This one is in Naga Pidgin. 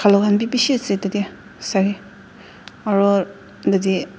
manu kan b bishi ase tate savi aro yete.